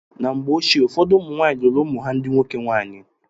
Na mgbe ochie, ụfọdụ ụmụ nwaanyị lụụrụ ụmụ ha ndị nwoke nwaanyị.